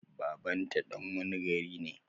Baban ta dan wani gari ne?